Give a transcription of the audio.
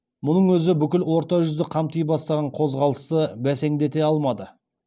мұның өзі бүкіл орта жүзді қамти бастаған қозғалысты бәсеңдете алмады